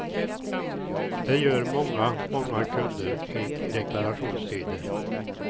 Det gör många, många kunder i deklarationstider.